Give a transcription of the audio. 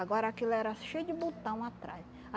Agora aquilo era cheio de botão atrás.